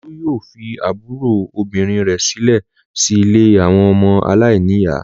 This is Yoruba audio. Olú yóò fi àbúrò obìnrin rẹ̀ sílẹ̀ sí ilé àwọn ọmọ aláìníìyá.